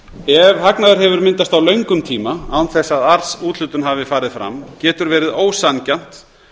ef hagnaður hefur myndast á löngum tíma án þess að arðsúthlutun hafi farið fram getur verið ósanngjarnt